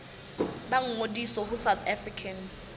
ba ngodise ho south african